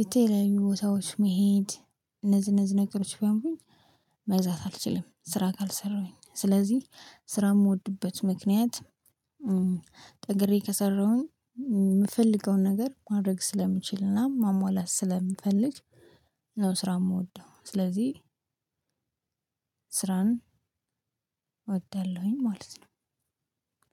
የተለያዩ ቦታዎች መሄድ እነዚህ እነዚህ ነገሮች ቢያምሩኝ። መግዛት አልችልም ስራ ካልሰራሁኝ ስለዚህ ስራ የምወድበት ምክንያት። ጠንክሬ ከሰራሁኝ የምፈልገውን ነገር ማድረግ ስለምችልና ማሟላት ስለምፈልግ ነው። ስራ የምወደው ስለዚህ ስራን እወዳለሁኝ ማለት ነው።